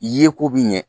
Ye ko bi ɲɛ